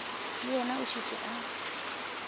le yena o šetše a